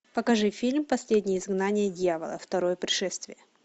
покажи фильм последнее изгнание дьявола второе пришествие